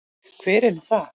Hver er nú það?